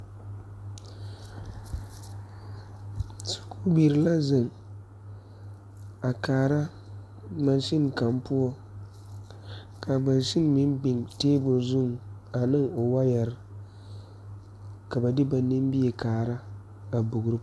Sukubiire la zeŋ a kaara mansen kaŋ poɔ kaa mansen meŋ biŋ tabol zuŋ aneŋ wɔɔyɛrre ka ba de ba nimie kaara a bogro.